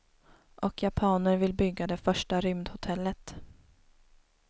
Och japaner vill bygga det första rymdhotellet.